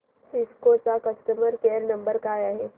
Cisco चा customer care number काय आहे